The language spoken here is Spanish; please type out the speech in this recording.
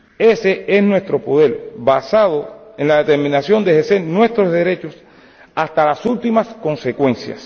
Ese es nuestro poder, basado en la determinación de ejercer nuestros derechos hasta las últimas consecuencias.